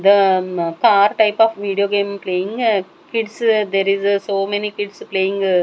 the um car type of video game playing kids there is so many kids playing.